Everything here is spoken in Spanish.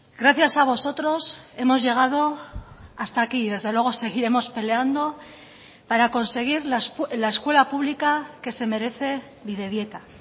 gracias a vosotros hemos llegado hasta aquí y desde luego seguiremos peleando para conseguir la escuela pública que se merece bidebieta